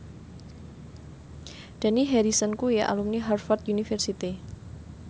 Dani Harrison kuwi alumni Harvard university